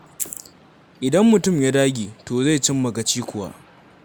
Idan mutum ya dage, to zai cimma gaci kuwa.